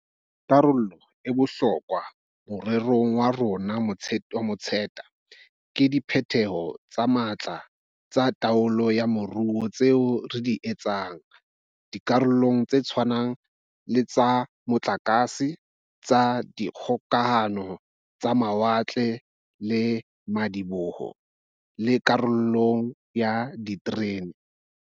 Karolo ya bohlokwa more rong wa rona wa matsete ke diphetoho tse matla tsa taolo ya moruo tseo re di etsang di karolong tse tshwanang le tsa motlakase, tsa dikgokahano, tsa mawatle le madiboho, le karolong ya diterene.